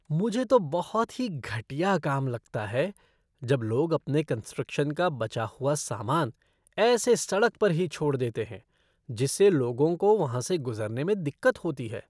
मुझे तो बहुत ही घटिया काम लगता है जब लोग अपने कंस्ट्रक्शन का बचा हुआ सामान ऐसे सड़क पर ही छोड़ देते हैं, जिससे लोगों को वहां से गुज़रने में दिक्कत होती है।